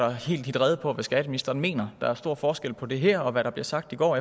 at hitte rede på hvad skatteministeren mener der er stor forskel på det her og hvad der blev sagt i går